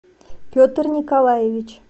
петр николаевич